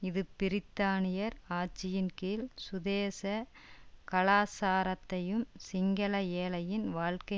இது பிரித்தானியர் ஆட்சியின் கீழ் சுதேச கலாச்சாரத்தையும் சிங்கள ஏழைகளின் வாழ்க்கை